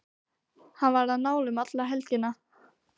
Hann var á nálum alla helgina.